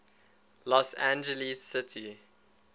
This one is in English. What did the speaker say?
los angeles city